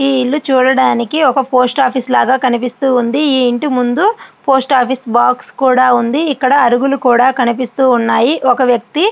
ఈ ఇల్లు చూడడానికి ఒక పోస్ట్ ఆఫీస్ లాగా కనిపిస్తూ ఉంది. ఈ ఇంటి ముందు పోస్ట్ ఆఫీస్ బాక్స్ కూడా ఉంది. ఇక్కడ ఒక వ్యక్తి--